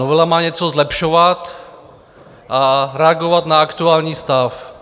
Novela má něco zlepšovat a reagovat na aktuální stav.